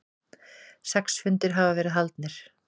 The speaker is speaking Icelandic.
Sex fundir hafa verið haldnir.